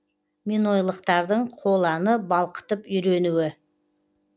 минойлықтардың қоланы балқытып үйренуі